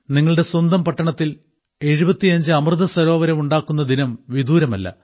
നിങ്ങളുടെ സ്വന്തം പട്ടണത്തിൽ 75 അമൃതസരോവരം ഉണ്ടാക്കുന്ന ദിനം വിദൂരമല്ല